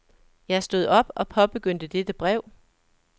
Jeg stod op og påbegyndte dette brev.